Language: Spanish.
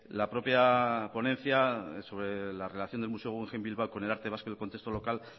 la propia ponencia sobre la relación del museo guggenheim bilbao con el arte vasco y el contexto local